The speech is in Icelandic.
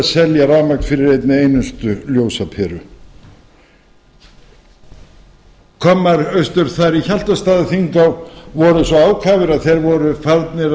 rafmagn fyrir einni einustu ljósaperu kommar austur þar í hjaltastaðaþinghá voru svo ákafir að þeir voru farnir